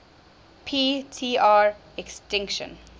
p tr extinction